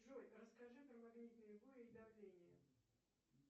джой расскажи про магнитные бури и давление